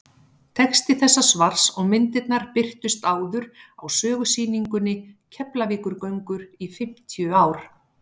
texti þessa svars og myndirnar birtust áður á sögusýningunni keflavíkurgöngur í fimmtíu ár